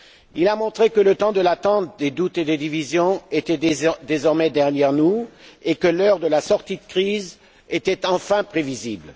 Il a montré que le temps de l'attente, des doutes et des divisions était désormais derrière nous et que l'heure de la sortie de crise était enfin prévisible.